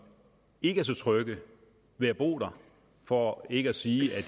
ikke er så trygge ved at bo der for ikke at sige